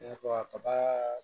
I n'a fɔ kaba